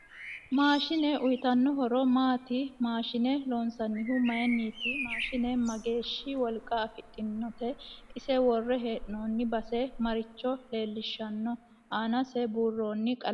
Maashine uyiitanno horo maati maashine loonsanihu mayiiniti mashiine mageeshi wolqa afidhinote ise worre heenooni base maricho leelishanno aanase buuroni qalame hootoote